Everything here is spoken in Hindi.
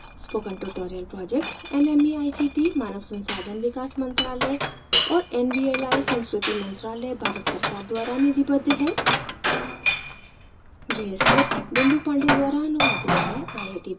spoken tutorial project nmeict मानव संसाधन विकास मंत्रायल और nvli संस्कृति मंत्रालय भारत सरकार द्वारा निधिबद्ध है